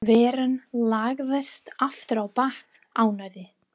Veran lagðist aftur á bak, ánægð.